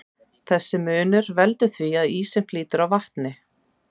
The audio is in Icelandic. Þessi munur veldur því að ísinn flýtur á vatni.